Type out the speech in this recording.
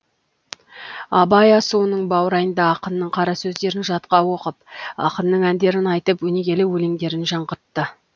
абай асуының баурайында ақынның қара сөздерін жатқа оқып ақынның әндерін айтып өнегелі өлеңдерін жаңғыртты